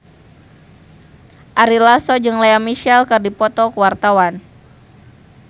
Ari Lasso jeung Lea Michele keur dipoto ku wartawan